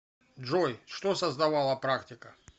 джой что создавала практика